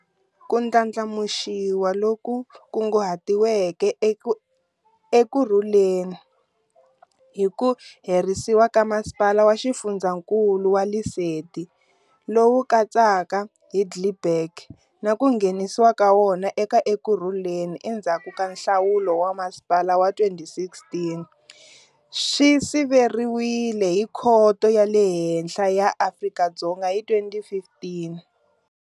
Ku ndlandlamuxiwa loku kunguhatiweke ka Ekurhuleni hi ku herisiwa ka Masipala wa Xifundzankulu wa Lesedi, lowu katsaka Heidelberg, na ku nghenisiwa ka wona eka Ekurhuleni endzhaku ka nhlawulo wa masipala wa 2016, swi siveriwile hi Khoto ya le Henhla ya Afrika-Dzonga hi 2015.